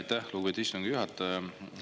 Aitäh, lugupeetud istungi juhataja!